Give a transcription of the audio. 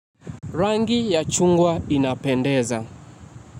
Rangi ya chungwa inapendeza.